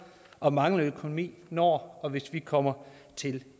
og manglende økonomi når og hvis vi kommer til